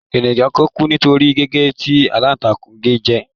Ènìyàn kan kú nítorí gígé tí aláǹtakù ge jẹ.